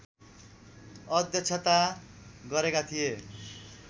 अध्यक्षता गरेका थिए